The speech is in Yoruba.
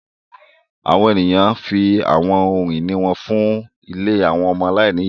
Àwọn eniyan fi awọn ohun-ini wọn fun ìlé awọn ọmọ aláìniya